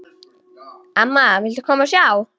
Amma, viltu koma og sjá!